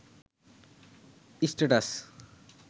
status